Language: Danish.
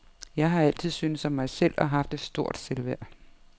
Jeg har altid syntes om mig selv og haft et stort selvværd.